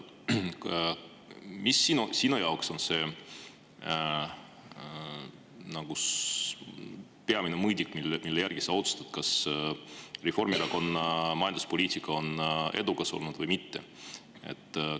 Mis sinu jaoks on see peamine mõõdik, mille järgi sa otsustad, kas Reformierakonna majanduspoliitika on olnud edukas või mitte?